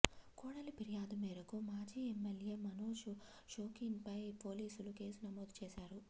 కోడలి ఫిర్యాదు మేరకు మాజీ ఎమ్మెల్యే మనోజ్ షోకీన్పై పోలీసులు కేసు నమోదు చేశారు